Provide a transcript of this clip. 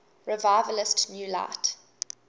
revivalist new light